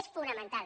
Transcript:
és fonamental